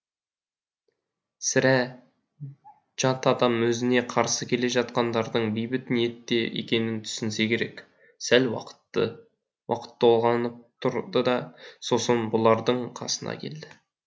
сірә жат адам өзіне қарсы келе жатқандардың бейбіт ниетте екенін түсінсе керек сәл уақыт толғанып тұрды да сосын бұлардың қасына келді